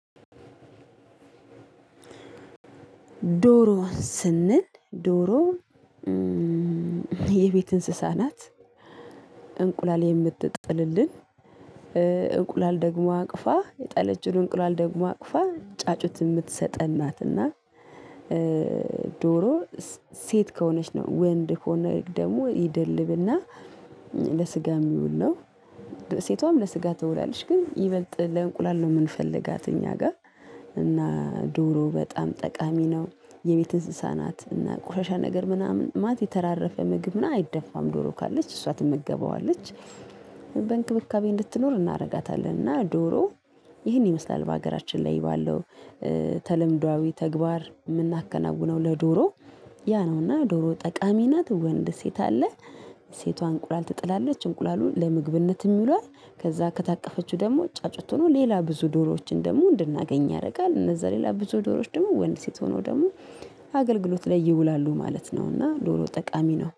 ዶሮ ስንል ዶሮ የቤት እንስሳ ናት እንቁላል የምትጥልልን እንቁላል ደግሞ አቅፋ የጠለችውን እንቁላል ደግሞ አቅፋ ጫጩት የምትሰጠን ናትና። ዶሮ ሴት ከሆነች ነው ወንድ ከሆነ ደግሞ ይደልብና ለስጋ የሚውል ነው። ሴቷም ለስጋ ትውላለች ግን ይበልጥ ለእንቁላል ነው የምንፈልጋት እኛ ጋር። እና ዶሮ በጣም ጠቃሚ ነው የቤት እንስሳ ናት እና ቁሻሻ ነገር ምናምን ማለት የተራራፈ ምግብ አይደፋም ዶሮ ካለች እሷ ትመገበዋለች። በእንክብካቤ እንድትኖር እናደርጋታለን። እና ዶሮ ይህን ይመስላል በሀገራችን ላይ ባለው ተለምዷዊ ተግባር የምናከናውነው ለዶሮ ያ ነው። እና ዶሮ ጠቃሚ ናት ወንድ ሴት አለ ሴቷ እንቁላል ትጥላለች እንቁላሉን ለምግብነት ይውላል። ከዛ ከታቀፈችው ደግሞ ጫጩት ሆኖ ሌላ ብዙ ዶሮዎችን ደግሞ እንድናገኝ ያደርጋል እነዛ ሌላ ብዙ ዶሮዎች ደግሞ ወንድ ሴት ሆኖ ደግሞ አገልግሎት ላይ ይውላሉ ማለት ነው። እና ዶሮ ጠቃሚ ነው